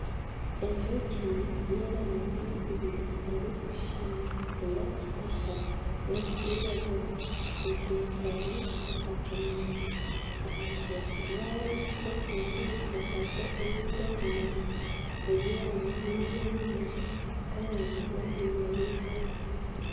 Enjoki y'erangi ibiri zitarikushushana eya kitaka neri kwiragira etekami aha kimuri aha rubaju rw'ekimuri ekyo hariho ebindi ebimuri eby'erangi niyo emwe kandi n'obwire bwihangwe